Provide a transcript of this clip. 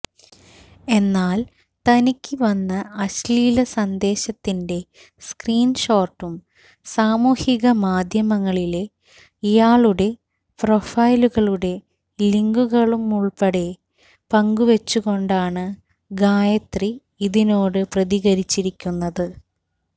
എന്നാല് തനിക്ക് വന്ന അശ്ലീല സന്ദേശത്തിന്റെ സ്ക്രീന്ഷോട്ടും സാമൂഹിക മാധ്യമങ്ങളിലെ ഇയാളുടെ പ്രൊഫൈലുകളുടെ ലിങ്കുകളുമുള്പ്പെടെ പങ്കുവച്ചുകൊണ്ടാണ് ഗായത്രി ഇതിനോട് പ്രതികരിച്ചിരിക്കുന്നത്